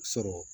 Sɔrɔ